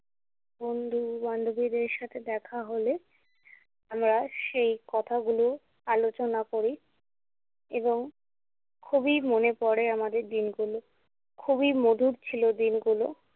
বন্ধু-বান্ধবীদের সাথে দেখা হলে আমরা সেই কথাগুলো আলোচনা করি এবং খুবই মনে পড়ে আমাদের দিনগুলো। খুবই মধুর ছিলো দিনগুলো।